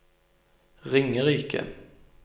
Ringerike